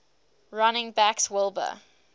running backs wilbur